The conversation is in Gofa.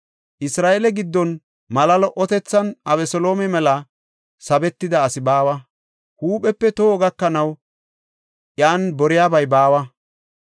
Isra7eele giddon mala lo77otethan Abeseloome mela sabetida asi baawa. Huuphepe toho gakanaw iyan boriyabay baawa.